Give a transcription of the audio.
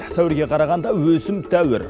сәуірге қарағанда өсім тәуір